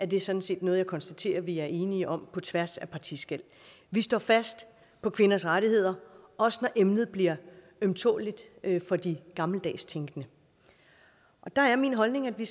det sådan set noget jeg konstaterer at vi er enige om på tværs af partiskel vi står fast på kvinders rettigheder også når emnet bliver ømtåleligt for de gammeldags tænkende der er min holdning at vi